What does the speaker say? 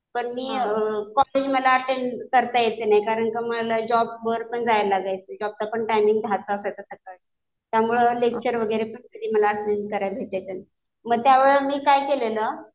पण मी कॉलेज मला अटेंड करता यायचं नाही. कारण कि मला जॉब वर पण जायला लागायचं. जॉबचा पण टायमिंग दहाचा असायचा सकाळी. त्यामुळं लेक्चर वगैरे मला अटेंड करायला भेटायचं नाही. मग त्यावेळी मी काय केलेलं,